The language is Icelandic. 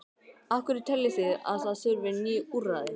Af hverju teljið þið að það þurfi ný úrræði?